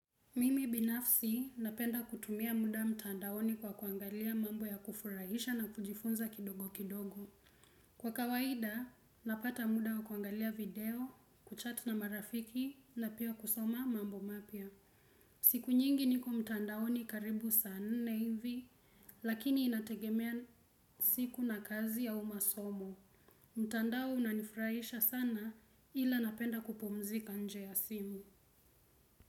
Mimi binafsi napenda kutumia muda mtandaoni kwa kuangalia mambo ya kufurahisha na kujifunza kidogo kidogo. Kwa kawaida, napata muda wa kuangalia video, kuchat na marafiki na pia kusoma mambo mapia. Siku nyingi niko mtandaoni karibu saa nne hivi, lakini inategemea siku na kazi au masomo. Mtandao unanifurahisha sana ila napenda kupumzika nje ya simu.